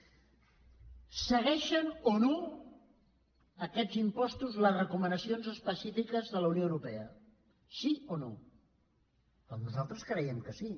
segueixen o no aquests impostos les recomanacions específiques de la unió europea sí o no doncs nosaltres creiem que sí